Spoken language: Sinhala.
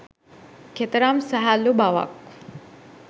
කෙතරම් සැහැල්ලු බවක්